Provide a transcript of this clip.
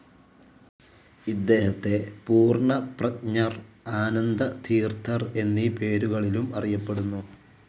ഇദ്ദേഹത്തെ പൂർണ്ണപ്രജ്ഞർ, ആനന്ദതീർത്ഥർ എന്നീ പേരുകളിലും അറിയപ്പെടുന്നു.